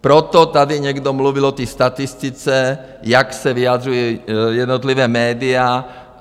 Proto tady někdo mluvil o té statistice, jak se vyjadřují jednotlivá média.